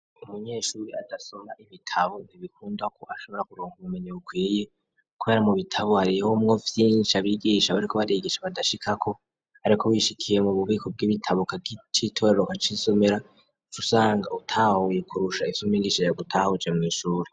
Umunyeshuri adasoma ibitabo ntibikunda ko ashobora kuronka ubumenyi bukwiye kubera mu bitabo harimwo vyinshi abigisha bariko barigisha badashikako ariko wishikiye mu bubiko bw'ibitabo ukacitorera, ukacisomera, uca usanga utahuye kurusha ivyo mwigisha yagutahuje mw'ishuri.